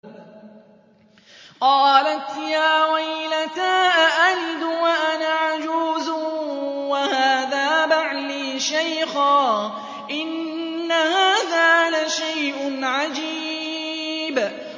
قَالَتْ يَا وَيْلَتَىٰ أَأَلِدُ وَأَنَا عَجُوزٌ وَهَٰذَا بَعْلِي شَيْخًا ۖ إِنَّ هَٰذَا لَشَيْءٌ عَجِيبٌ